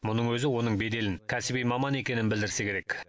мұның өзі оның беделін кәсіби маман екенін білдірсе керек